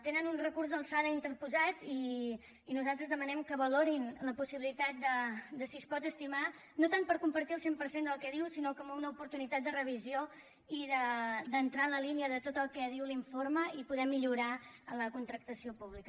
tenen un recurs d’alçada interposat i nosaltres demanem que valorin la possibilitat de si es pot estimar no tant per compartir el cent per cent del que diu sinó com una oportunitat de revisió i d’entrar en la línia de tot el que diu l’informe i poder millorar la contractació pública